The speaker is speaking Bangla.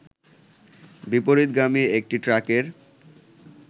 বিপরীতগামী একটি ট্রাকের